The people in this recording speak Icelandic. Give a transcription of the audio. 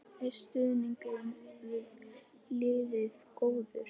Er stuðningur við liðið góður?